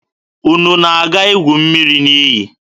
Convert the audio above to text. Unu na-aga igu mmiri n'iyi?